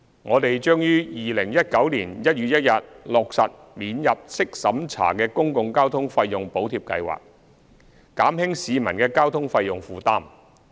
我們將於2019年1月1日落實免入息審查的公共交通費用補貼計劃，減輕市民的交通費用負擔。